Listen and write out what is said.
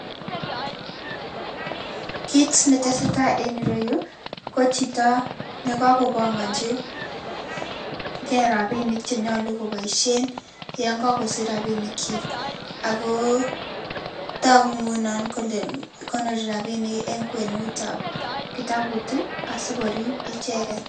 kit ne tesetai en iroyun, ko chito ne kakopanganchinke rabinik che nyolu koboisien yen kakosich rabinik chik, ako togu ng'unon kole konori rabinik en kwenut ab kitabut asikorib icheket